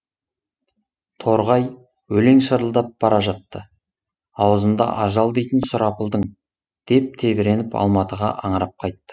торғай өлең шырылдап бара жатты аузында ажал дейтін сұрапылдың деп тебіреніп алматыға аңырап қайтты